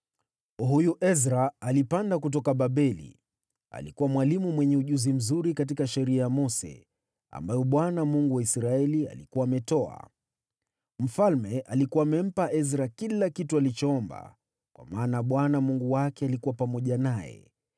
Huyu Ezra alipanda kutoka Babeli. Alikuwa mwalimu mwenye ujuzi mzuri katika sheria ya Mose, ambayo Bwana , Mungu wa Israeli, alikuwa ametoa. Mfalme alikuwa amempa Ezra kila kitu alichoomba, kwa maana Bwana Mungu wake alikuwa pamoja naye.